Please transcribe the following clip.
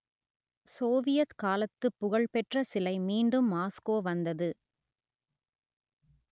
Soviet காலத்து புகழ் பெற்ற சிலை மீண்டும் மாஸ்கோ வந்தது